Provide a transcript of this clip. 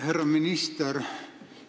Härra minister!